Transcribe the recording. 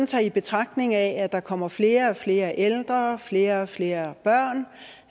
tager i betragtning at at der kommer flere og flere ældre flere og flere børn